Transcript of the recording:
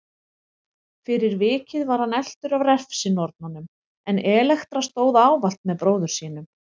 Fyrir vikið var hann eltur af refsinornunum en Elektra stóð ávallt með bróður sínum.